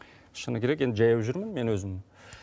шыны керек енді жаяу жүрмін мен өзім